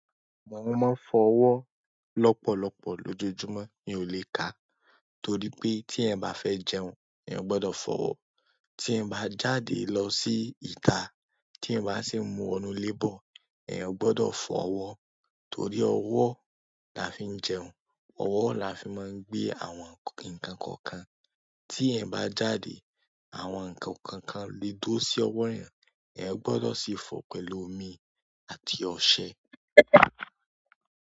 Àmọ máa ń fọwọ́ lọ́pọ̀lọpọ̀ lójoojúmọ́, mi ò lè kà á, torí pé tí ẹ bá fẹ́ jẹun, ẹ̀ ò gbọdọ̀ fọ wọ́. Tí eeyan bá jáde lọ sí ìta, tí eeyan bá sì wọnú lé bọ̀, eeyan ò gbọdọ̀ fọ wọ́, torí ọwọ́ la fi ń jẹun, ọwọ́ la fi máa ń gbé àwọn nǹkan kọ̀ọ̀kan. Tí eeyan bá jáde, àwọn nǹkan kọ̀ọ̀kan lé dó sí ọwọ́ eeyan a gbọdọ̀ sì fọ̀ ọ́ pẹ̀lú omi àti ọṣẹ.